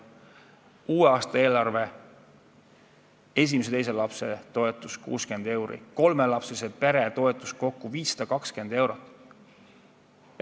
Uue aasta eelarve: esimese ja teise lapse toetus 60 eurot, kolmelapselise pere toetus kokku 520 eurot.